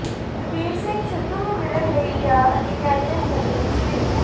ਬਲਬੀਰ ਸਿੰਘ ਸਿੱਧੂ ਨੂੰ ਮਿਲਣ ਲਈ ਗਿਆ ਅਤੇ ਕੈਬਿਨੇਟ ਮੰਤਰੀ ਸ੍ਰ